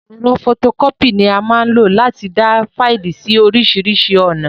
Ẹ̀rọ fọtokọ́pì ni a máa n lo láti dáa Faìlì síí orisirisi ọ̀nà